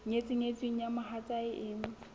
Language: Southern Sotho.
nyetseng nyetsweng eo mohatsae e